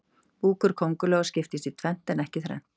búkur kóngulóa skiptist í tvennt en ekki þrennt